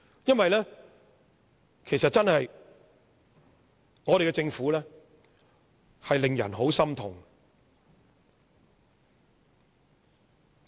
因為我們的政府真的令人很心痛。